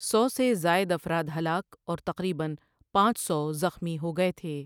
سو سے زائد افراد ہلاک اور تقریبا پانچ سو زخمی ہو گئے تھے ۔